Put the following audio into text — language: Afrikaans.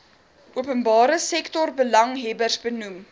openbare sektorbelanghebbers benoem